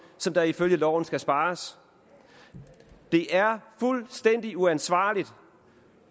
som der ifølge loven skal spares det er fuldstændig uansvarligt